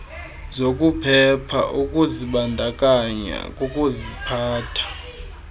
zokuphepha ukuzibandakanya kukuziphatha